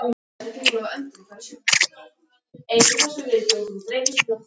Það er Jón biskup Arason sem innir þig eftir því.